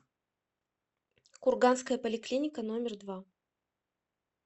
курганская поликлиника номер два